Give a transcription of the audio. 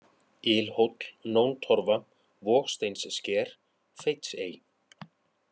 Ilhóll, Nóntorfa, Vogsteinssker, Feitsey